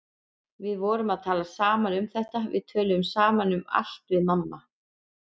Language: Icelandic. Við vorum að tala saman um þetta, við tölum saman um allt við mamma.